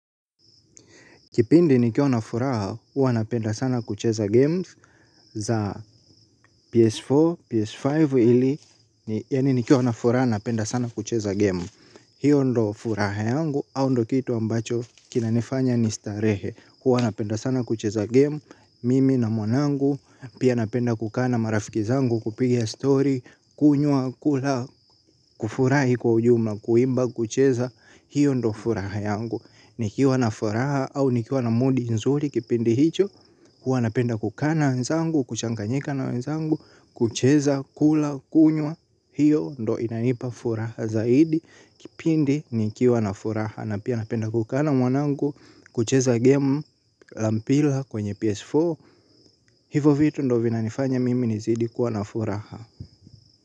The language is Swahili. Kipindi nikiwa na furaha, huwa napenda sana kucheza games za PS4, PS5 ili, yani nikiwa na furaha napenda sana kucheza game. Hiyo ndiyo furaha yangu, au ndiyo kitu ambacho kinanifanya nistarehe huwa napenda sana kucheza game, mimi na mwanangu, pia napenda kukaa na marafiki zangu kupiga story, kunywa, kula, kufurahi kwa ujumla, kuimba, kucheza. Hiyo ndiyo furaha yangu. Nikiwa na furaha au nikiwa na moodi nzuri kipindi hicho huwa napenda kukaa na wenzangu, kuchanganyika na wenzangu. Kucheza, kula, kunywa. Hiyo ndiyo inanipa furaha zaidi. Kipindi, nikiwa na furaha na pia napenda ku kaa na mwanangu. Kucheza game la mpira kwenye PS4. Hivo vitu ndiyo vinanifanya mimi nizidi kuwa na furaha.